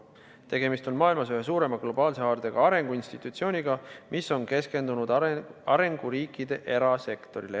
Tegemist on maailmas ühe suurema globaalse haardega arenguinstitutsiooniga, mis on eranditult keskendunud arenguriikide erasektorile.